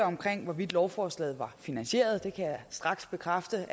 hvorvidt lovforslaget er finansieret og det kan jeg straks bekræfte